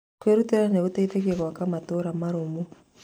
Kwĩrutĩra nĩ gũteithagia gwaka matũũra marũmu.